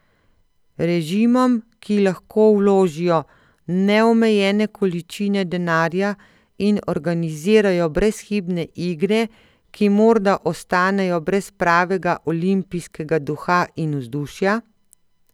Režimom, ki lahko vložijo neomejene količine denarja in organizirajo brezhibne igre, ki morda ostanejo brez pravega olimpijskega duha in vzdušja?